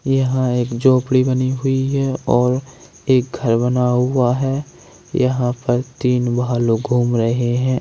यहां एक झोपड़ी बनी हुई है और एक घर बना हुआ है यहां पर तीन भालू घूम रहे हैं।